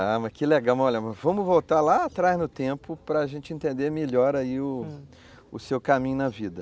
Ah, mas que legal, vamos voltar lá atrás no tempo para a gente entender melhor aí o, o seu caminho na vida.